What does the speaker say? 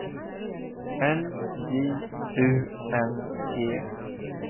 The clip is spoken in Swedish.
L J U N G